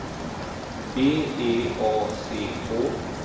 B E A C H